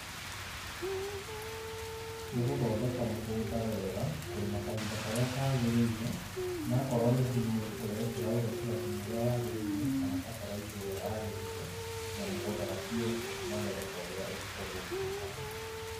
Nĩgũthondeka mũgũnda wega, kũrĩma kahinda karĩa kagĩrĩire na akorwo nĩ thumu ũrekĩra ũgĩkĩra thumu ũria wagĩrĩire kana fertilizer ĩrĩa yagĩrĩire na mugũnda waku nĩ ũgũkũhe magetha ta ũrĩa ũngĩkorwo ũgĩtanya.